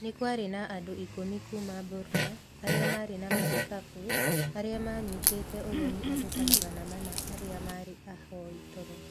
Nĩ kwarĩ na andũ ikũmi kuuma Burma arĩa maarĩ na marikabu, arĩa maanyitĩte ũgeni andũ ta magana mana arĩa maarĩ ahoi toro.